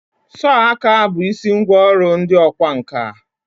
sọọ aka bụ isi ngwa ọrụ ndị ọkwá nkà.